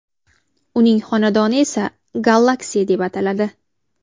Uning xonadoni esa Galaxy deb ataladi.